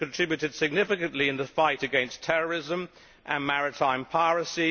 It has contributed significantly in the fight against terrorism and maritime piracy.